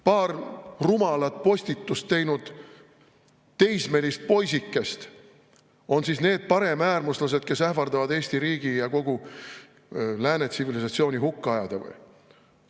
Paar rumalat postitust teinud teismelist poisikest on need paremäärmuslased, kes ähvardavad Eesti riigi ja kogu lääne tsivilisatsiooni hukka ajada või?